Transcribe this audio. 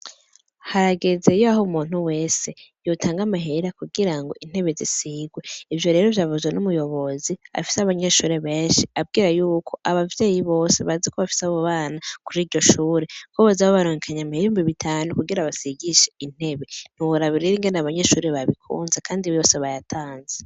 Harageze yaho umuntu wese yotanga amahera kugirango intebe zisigwe. Ivyo rero vyavuzwe n'umuyobozi afise abanyeshure benshi, ababwira yuko abavyeyi bose bazi bafise abo bana kuri iryo shure, ko boza babarungikanye amahera ibihumbi bitanu kugira basigishe intebe. Ntiworaba rero ingene abanyeshure bose babikunze kandi bose bayatanze.